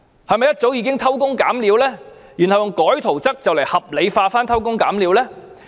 是否一早已偷工減料，然後以更改圖則來合理化偷工減料的做法？